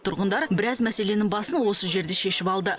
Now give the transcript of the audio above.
тұрғындар біраз мәселенің басын осы жерде шешіп алды